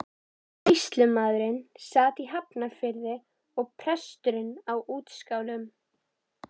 Sýslumaðurinn sat í Hafnarfirði og presturinn á Útskálum.